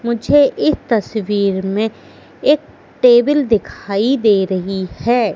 मुझे इस तस्वीर में एक टेबल दिखाई दे रही है।